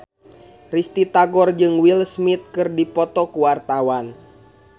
Risty Tagor jeung Will Smith keur dipoto ku wartawan